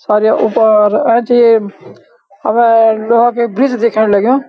सर या ऊपार एैंचे ये हमर गौं के बिच दिख्येण लग्युं।